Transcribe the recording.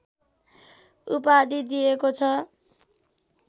उपाधि दिएको छ